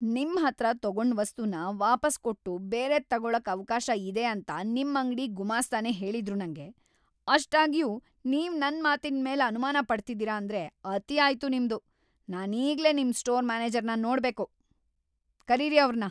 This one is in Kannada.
ನಿಮ್ಹತ್ರ ತಗೊಂಡ್ ವಸ್ತುನ ವಾಪಸ್‌ ಕೊಟ್ಟು‌ ಬೇರೆದ್‌ ತಗೊಳಕ್ ಅವ್ಕಾಶ ಇದೆ ಅಂತ ನಿಮ್ ಅಂಗ್ಡಿ ಗುಮಾಸ್ತನೇ ಹೇಳಿದ್ರು ನಂಗೆ, ಅಷ್ಟಾಗ್ಯೂ ನೀವ್ ನನ್ ಮಾತಿನ್ಮೇಲ್ ಅನುಮಾನ ಪಡ್ತಿದೀರ ಅಂದ್ರೆ ಅತಿ ಆಯ್ತು ನಿಮ್ದು, ನಾನೀಗ್ಲೇ ನಿಮ್ ಸ್ಟೋರ್ ಮ್ಯಾನೇಜರ್‌ನ ನೋಡ್ಬೇಕು, ಕರೀರಿ ಅವ್ರ್‌ನ!